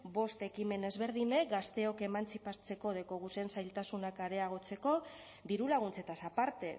bost ekimen ezberdinek gazteok emantzipatzeko dekoguzen zailtasunak areagotzeko dirulaguntzetaz aparte